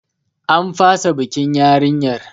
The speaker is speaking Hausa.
An fasa bikin yarinyar.